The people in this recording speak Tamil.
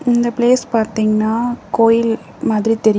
இந்த பிளேஸ் பாத்தீங்னா கோயில் மாதிரி தெரியு --